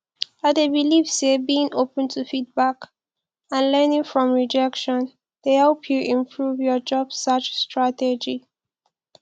i dey believe say being open to feedback and learning from rejection dey help you improve your job search strategy